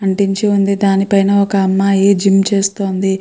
అంటించి ఉంది దాని పైన ఒక అమ్మాయి జిమ్ చేస్తోంది.